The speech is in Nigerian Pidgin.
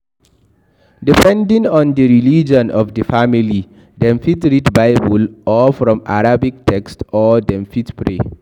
Depending on di tradition of di family, dem fit read bible or from arabic text or dem fit pray